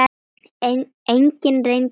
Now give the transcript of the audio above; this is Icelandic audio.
Enginn reyndi það.